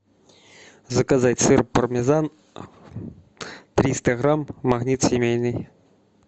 заказать сыр пармезан триста грамм магнит семейный